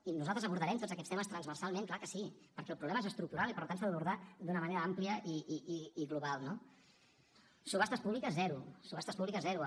i nosaltres abordarem tots aquests temes transversalment clar que sí perquè el problema és estructural i per tant s’ha d’abordar d’una manera àmplia i global no subhastes públiques zero subhastes públiques zero